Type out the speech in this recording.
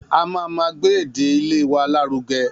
A ma má gbé èdè ilè wa láruge